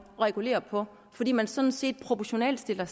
at regulere på fordi man sådan set proportionalt stiller